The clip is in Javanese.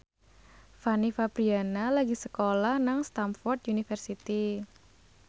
Fanny Fabriana lagi sekolah nang Stamford University